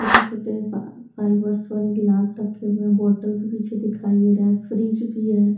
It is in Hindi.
छोटे छोटे फा फाइबर्स वाले गिलास रखे हुए हैं बॉटल भी पीछे दिखाई दे रहा है फ्रिज भी है।